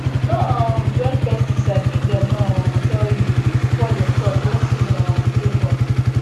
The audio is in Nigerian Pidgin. no um join pesticide if dem no um tell you e fit spoil your crops when season um dey hot